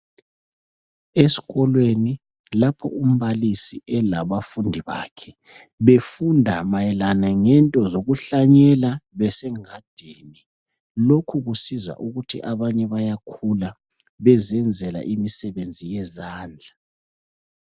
Esikolweni lapho umbalisi elabafundi bakhe befunda mayelana ngento zokuhlanyela besengadini. Lokhu kusiza ukuthi abanye bayakhula bezenzela imisebenzi yezandla.